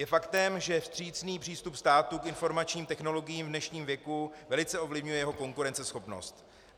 Je faktem, že vstřícný přístup státu k informačním technologiím v dnešním věku velice ovlivňuje jeho konkurenceschopnost.